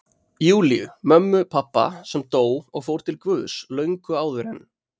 Júlíu, mömmu pabba, sem dó og fór til Guðs löngu áður en